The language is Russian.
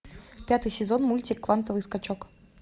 пятый сезон мультик квантовый скачок